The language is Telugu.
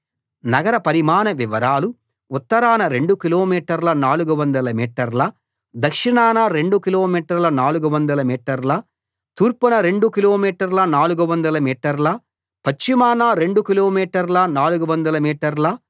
నగర పరిమాణ వివరాలు ఉత్తరాన రెండు కిలోమీటర్ల 400 మీటర్ల దక్షిణాన రెండు కిలోమీటర్ల 400 మీటర్ల తూర్పున రెండు కిలోమీటర్ల 400 మీటర్ల పశ్చిమాన రెండు కిలోమీటర్ల 400 మీటర్ల